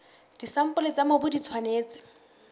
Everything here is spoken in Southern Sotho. disampole tsa mobu di tshwanetse